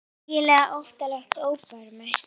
Eiginlega óttalegt óbermi.